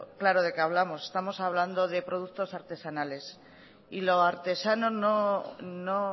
claro de qué hablamos estamos hablando de productos artesanales y lo artesano no